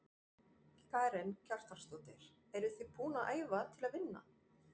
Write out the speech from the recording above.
Karen Kjartansdóttir: Eruð þið búin að æfa til að vinna?